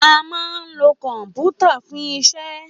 À mà ń ló kọpútà fún ìsẹ